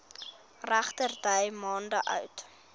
regterdy maande oud